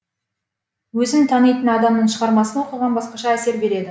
өзің танитын адамның шығармасын оқыған басқаша әсер береді